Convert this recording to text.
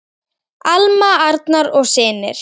Alma, Arnar og synir.